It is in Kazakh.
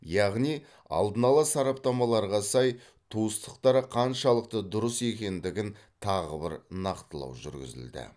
яғни алдын ала сараптамаларға сай туыстықтары қаншалықты дұрыс екендігін тағы бір нақтылау жүргізілді